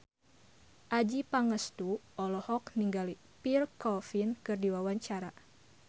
Adjie Pangestu olohok ningali Pierre Coffin keur diwawancara